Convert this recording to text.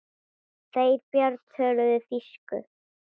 Þeir Björn töluðu þýsku.